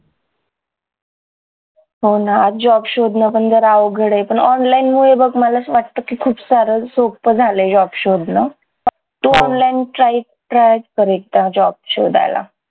हो ना job शोधणं पण जरा अवघड ये पण online मुळे बघ मला वाटतं खूप सारं सोपं झालंय job शोधणं तू online try try कर एकदा job शोधायला